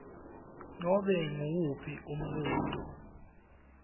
nobe nguwuphi umbuto